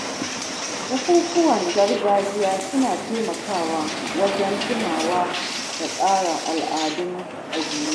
Bukukuwan gargajiya suna taimakawa wajen tunawa da kare al’adun ƙabila.